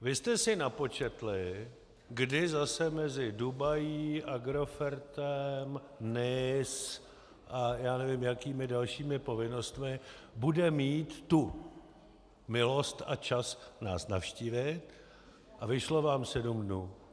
Vy jste si napočetli, kdy zase mezi Dubají, Agrofertem, Nice a já nevím jakými dalšími povinnostmi bude mít tu milost a čas nás navštívit, a vyšlo vám sedm dnů.